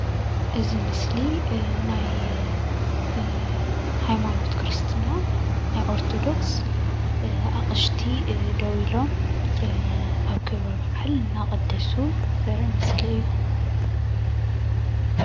እዚ ምስሊ ናይ ኦርቶዶክስ ሃይማኖት ክርስትና ኣቕሽቲ ደዊሎም ኣብ ክብረ በዓል እናቐደሱ ዘርኢ ምስሊ እዩ፡፡